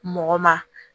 Mɔgɔ ma